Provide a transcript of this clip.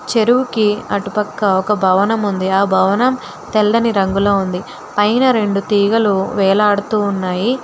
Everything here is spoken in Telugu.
చెరువుకి అటుపక్క ఒక భవనం ఉంది ఆ భవనం తెల్లని రంగులో ఉంది పైన రెండు తీగలు వేలాడుతూ ఉన్నాయి.